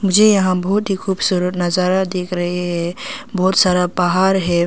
जी यहां बहुत ही खूबसूरत नजारा देख रहे हैं बहुत सारा पहाड़ है।